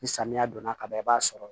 Ni samiya donna ka ban i b'a sɔrɔ